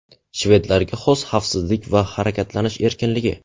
Shvedlarga xos xavfsizlik va harakatlanish erkinligi.